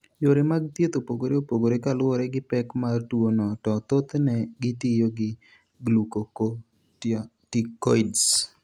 Yore mag thieth opogore opogore kaluwore gi pek mar tuwono to thothne gitiyo gi glucocorticoids.